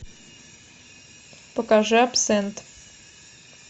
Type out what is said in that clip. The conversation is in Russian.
покажи абсент